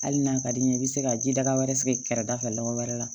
Hali n'a ka di n ye i bɛ se ka jidaga wɛrɛ sigi kɛrɛda fɛ lɔgɔ wɛrɛ la